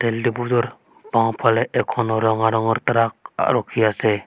তেলডিপুটোৰ বাওঁফালে এখনো ৰঙা ৰঙৰ ট্ৰাক আ ৰখি আছে।